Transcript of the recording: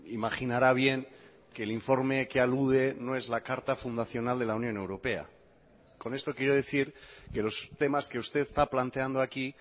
imaginara bien que el informe que alude no es la carta fundacional de la unión europea con esto quiero decir que los temas que usted está planteando aquí